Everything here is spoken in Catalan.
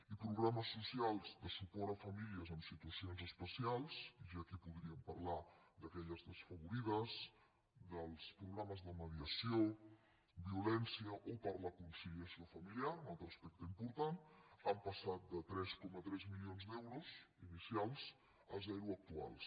i progra·mes socials de suport a famílies amb situacions espe·cials i aquí podríem parlar d’aquelles desfavorides dels programes de mediació violència o per la conci·liació familiar un altre aspecte important han pas·sat de tres coma tres milions d’euros inicials a zero actuals